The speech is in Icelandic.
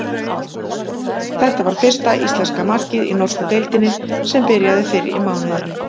Þetta var fyrsta íslenska markið í norsku deildinni sem byrjaði fyrr í mánuðinum.